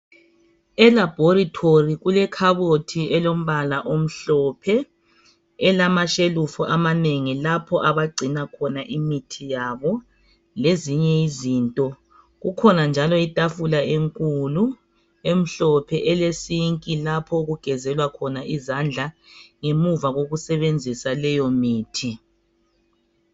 Elabhorithori kulekhabotji elombala omhlophe elamashelufu amanengi lapho abagcina khona imithi yabo lezinye izinto. Kukhona njalo itafula enkulu, emhlophe elesinki lapho okugezelwa khona izandla ngemuva kokusebenzisa leyo mithi.